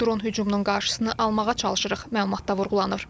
Dron hücumunun qarşısını almağa çalışırıq, məlumatda vurğulanır.